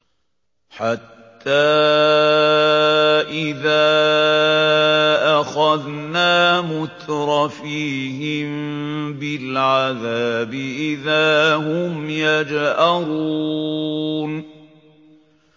حَتَّىٰ إِذَا أَخَذْنَا مُتْرَفِيهِم بِالْعَذَابِ إِذَا هُمْ يَجْأَرُونَ